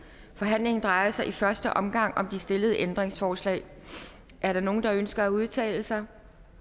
forhandlingen drejer sig i første omgang om de stillede ændringsforslag er der nogen der ønsker at udtale sig